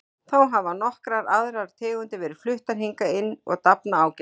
Þá hafa nokkrar aðrar tegundir verið fluttar hingað inn og dafna ágætlega.